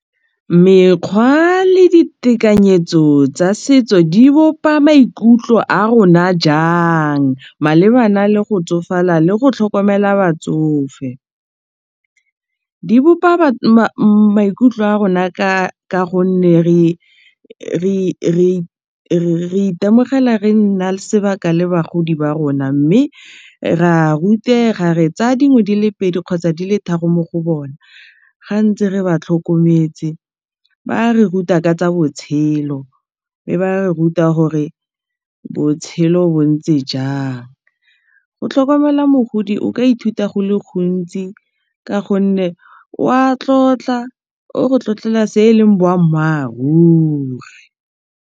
Mekgwa le ditekanyetso tsa setso di bopa maikutlo a rona jang malebana le go tsofala le go tlhokomela batsofe di bopa maikutlo a rona ka gonne re itemogela re nna sebaka le bagodi ba rona mme re a rutega re tsaya dingwe di le pedi kgotsa di le tharo mo go bona ga ntse re ba tlhokometse ba re ruta ka tsa botshelo mme ba re ruta gore botshelo bo ntse jang go tlhokomela mogodi o ka ithuta go le gontsi ka gonne wa tlotla o re tlotlela se eleng boammaaruri.